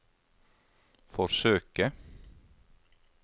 forsøke